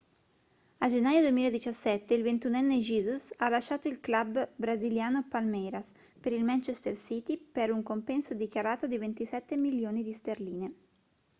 a gennaio 2017 il ventunenne jesus ha lasciato il club brasiliano palmeiras per il manchester city per un compenso dichiarato di 27 milioni di sterline